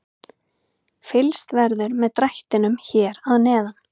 Fylgst verður með drættinum hér að neðan.